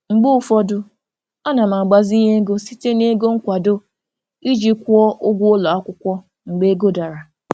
Mgbe ụfọdụ ana m agbazinye ego site na ego nkwado iji kwụọ ụgwọ ụlọ akwụkwọ mgbe ego dara.